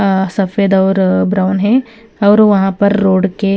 सफेद और ब्राउन है और वहां पर रोड के--